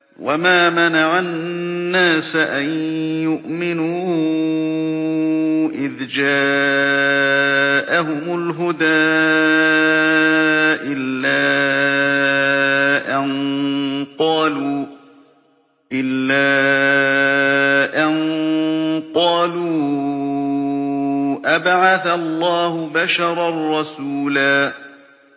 وَمَا مَنَعَ النَّاسَ أَن يُؤْمِنُوا إِذْ جَاءَهُمُ الْهُدَىٰ إِلَّا أَن قَالُوا أَبَعَثَ اللَّهُ بَشَرًا رَّسُولًا